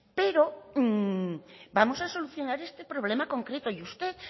pero vamos a solucionar este problema concreto y usted